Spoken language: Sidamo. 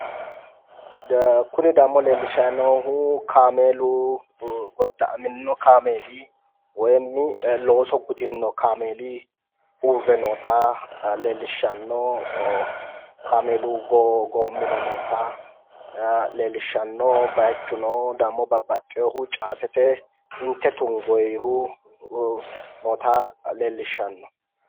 Kuni dammo leellishshanni noohu godda'amino kaameeli woy looso gudino kaameeli uurre noota leellishshano goommuno noota leellishshano baaychuno dammo babbaxino caatete obba tungoohu noota leellishshano